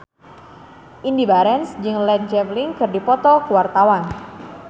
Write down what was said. Indy Barens jeung Led Zeppelin keur dipoto ku wartawan